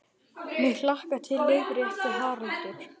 MIG hlakkar til, leiðrétti Haraldur.